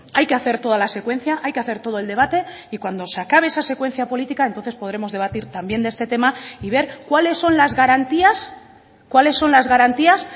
hay que hacer toda la secuencia hay que hacer todo el debate y cuando se acabe esa secuencia política entonces podremos debatir también de este tema y ver cuáles son las garantías cuáles son las garantías